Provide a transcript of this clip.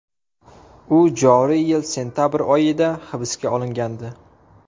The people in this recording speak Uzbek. U joriy yil sentabr oyida hibsga olingandi.